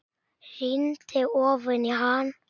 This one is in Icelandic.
Rýndi ofan í hann.